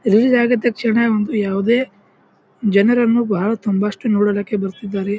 Release ಆಗಿದ್ ತಕ್ಷಣ ಒಂದು ಯಾವುದೇ ಜನರನ್ನು ಬಹಳ ತುಂಬಾ ಅಷ್ಟು ನೋಡಲಕ್ಕೆ ಬರ್ತಿದ್ದಾರೆ.